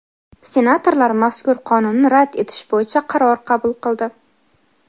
Senatorlar mazkur Qonunni rad etish bo‘yicha qaror qabul qildi.